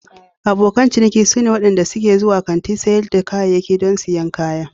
Abokan ciniki su ne waɗanda ke zuwa kantin sayar da kayayyaki don siyan kaya.